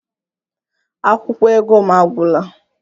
Akwụkwọ ego m agwụla